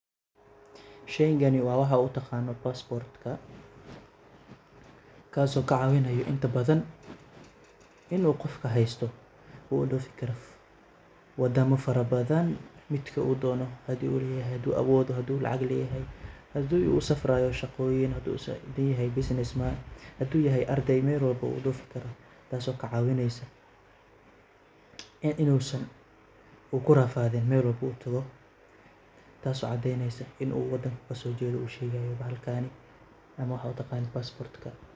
Sheeygani wa waxaa utaaqanaa passport kaaso kacaabinaayo inta badan inuu qofkaa haysto uu udhoofi Karo wadaama faraa badaan midkii uu doono haduu leyahay haduu Sheeygani wa waxaad utaqaanid passport kaso kacaawinayo inta badan inuu qofka haysto uu udoofi Karo wadaamo fara badaan midkii uu doono hadii uu leyahay haduu aawoodo haduu lacaag leyahay hadii uu usafraayo shaaqooyiin haduu saacido yahay businessman haduu yahay aarday meel walba wuu udoofi karaa taaso kacaawineyso ee inuusan uu kurafaadin meel walba oo utaago taso cadeyneso in uu wadaanko kasojeedo uu shegayaa bahalkani ama waxaad utaqanid passport ka .